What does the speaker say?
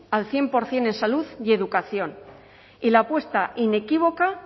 al cien por ciento en salud y educación y la apuesta inequívoca